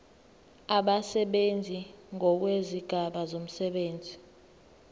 abasebenzi ngokwezigaba zomsebenzi